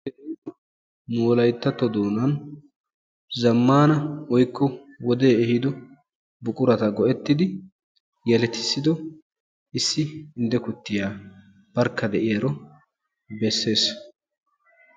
Nu wolayittatto doonan zammaana woyikko wodee ehido buqurata go'ettidi yeletissido issi indde kuttiya barkka de'iyaro besses.